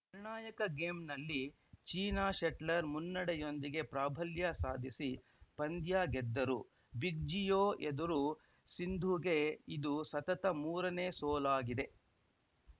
ನಿರ್ಣಾಯಕ ಗೇಮ್‌ನಲ್ಲಿ ಚೀನಾ ಶೆಟ್ಲರ್‌ ಮುನ್ನಡೆಯೊಂದಿಗೆ ಪ್ರಾಬಲ್ಯ ಸಾಧಿಸಿ ಪಂದ್ಯ ಗೆದ್ದರು ಬಿಜ್ಜಿಯೊ ಎದುರು ಸಿಂಧುಗೆ ಇದು ಸತತ ಮೂರನೇ ಸೋಲಾಗಿದೆ